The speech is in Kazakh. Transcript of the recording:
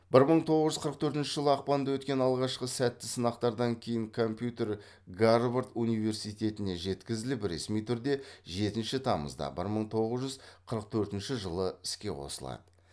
бір мың тоғыз жүз қырық төртінші жылы ақпанда өткен алғашқы сәтті сынақтардан кейін компьютер гарвард университетіне жеткізіліп ресми түрде жетінші тамызда бір мың тоғыз жүз қырық төртінші жылы іске қосылады